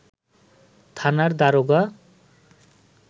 থানার দারোগা